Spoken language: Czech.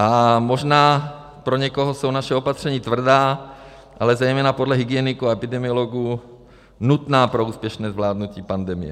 A možná pro někoho jsou naše opatření tvrdá, ale zejména podle hygieniků a epidemiologů nutná pro úspěšné zvládnutí pandemie.